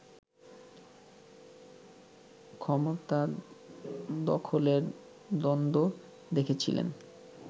ক্ষমতা দখলের দ্বন্দ্ব দেখেছিলেন